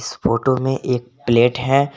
इस फोटो में एक प्लेट है।